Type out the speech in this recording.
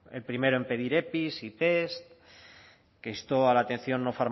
el primero en pedir epi y pes que instó a la atención no